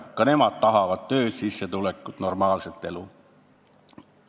Ka nemad tahavad tööd, sissetulekut ja normaalset elu.